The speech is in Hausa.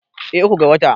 eh uku ga wata